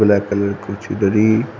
black colour की कुछो धरी--